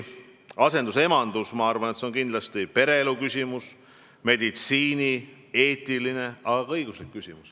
Asendusemadus on kindlasti pereelu, meditsiini ja eetikaga seotud küsimus, aga ka õiguslik küsimus.